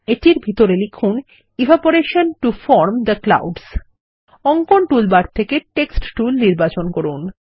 এটির ভিতরে লিখুন evaporation to form the clouds অঙ্কন টুলবার থেকে টেক্সট টুল নির্বাচন করুন